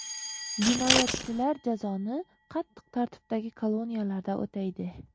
Jinoyatchilar jazoni qattiq tartibdagi koloniyalarda o‘taydi.